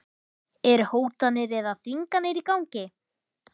Eru hótanir eða þvinganir í gangi?